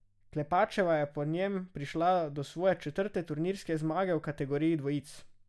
Klepačeva je po njem prišla do svoje četrte turnirske zmage v kategoriji dvojic.